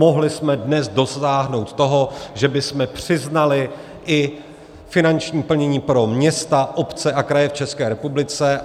Mohli jsme dnes dosáhnout toho, že bychom přiznali i finanční plnění pro města, obce a kraje v České republice.